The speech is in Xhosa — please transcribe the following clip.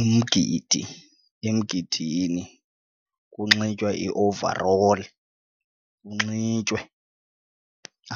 Umgidi, emgidini kunxitywa i-overall kunxitywe